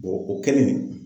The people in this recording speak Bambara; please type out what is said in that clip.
o kɛlen